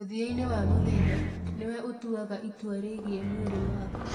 Mũthia-inĩ wa mũthenya, nĩwe ũtuaga itua rĩgiĩ mwĩrĩ waku.